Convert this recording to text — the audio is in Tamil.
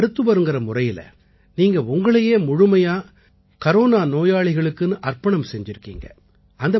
ஒரு மருத்துவர்ங்கற முறையில நீங்க உங்களையே முழுமையா கரோனா நோயாளிகளுக்குன்னு அர்ப்பணம் செஞ்சிருக்கீங்க